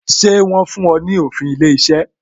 Ṣé wọn fún ọ ní òfin ilé iṣẹ́?